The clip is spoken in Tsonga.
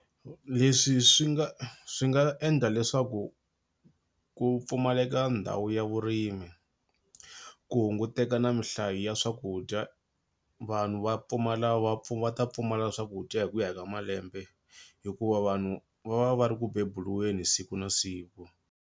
Leswi swi nga swi nga endla leswaku ku pfumaleka ndhawu ya vurimi ku hunguteka na minhlayo ya swakudya vanhu va pfumala va ta pfumala swakudya hi ku ya ka malembe hikuva vanhu va va va ri ku bebuliweni siku na siku.